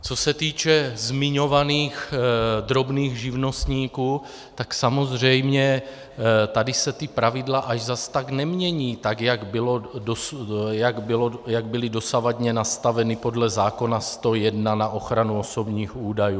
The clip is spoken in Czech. Co se týče zmiňovaných drobných živnostníků, tak samozřejmě tady se ta pravidla až zas tak nemění, tak jak byla dosavadně nastavena podle zákona 101 na ochranu osobních údajů.